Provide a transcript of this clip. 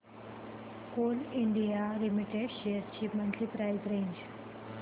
Coal India Limited shares ची monthly price range